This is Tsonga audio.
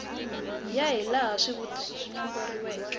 ya hilaha swivutiso swi nomboriweke